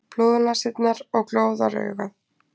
Blóðnasirnar og glóðaraugað.